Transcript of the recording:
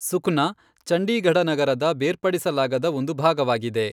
ಸುಖ್ನಾ ಚಂಡೀಗಢ ನಗರದ ಬೇರ್ಪಡಿಸಲಾಗದ ಒಂದು ಭಾಗವಾಗಿದೆ.